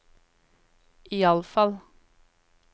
iallfall